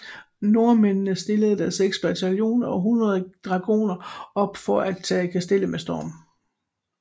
Nordmændene stillede da seks bataljoner og hundrede dragoner op for at tage kastellet med storm